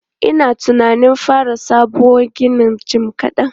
Ina tunanin fara sabon ginin jim kaɗan.